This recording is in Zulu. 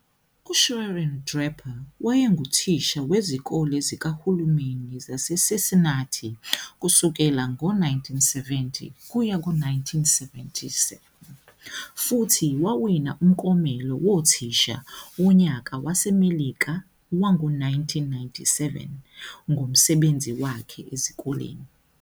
USharon Draper wayenguthisha wezikole zikahulumeni zaseCincinnati kusukela ngo-1970-1997, futhi wawina umklomelo Wothisha Wonyaka WaseMelika wango-1997 ngomsebenzi wakhe ezikoleni.